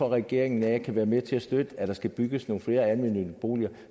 regeringen kan være med til at støtte at der skal bygges nogle flere almennyttige boliger